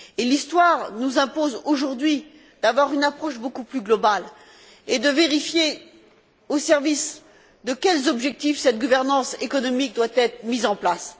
L'histoire nous impose aujourd'hui d'avoir une approche beaucoup plus globale et de vérifier au service de quels objectifs cette gouvernance économique doit être mise en place.